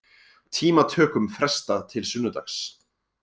Tímatökum frestað til sunnudags